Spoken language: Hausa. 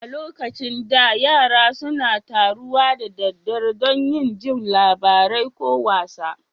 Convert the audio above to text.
A lokacin da, yara suna taruwa da daddare dan yin jin labarai ko wasa.